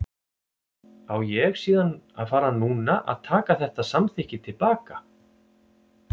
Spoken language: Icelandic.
Á ég síðan að fara núna að taka þetta samþykki til baka?